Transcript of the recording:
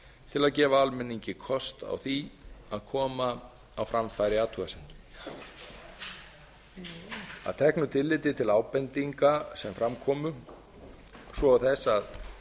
til að gefa almenningi kost á því að koma á framfæri athugasemdum að teknu tilliti til ábendinga sem fram komu svo og þess að